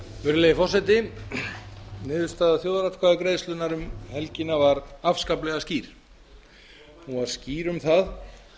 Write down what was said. virðulegi forseti niðurstaða þjóðaratkvæðagreiðslunnar um helgina var afskaplega skýr hann var skýr um